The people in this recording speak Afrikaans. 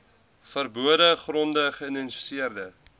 verbode gronde geïdentifiseer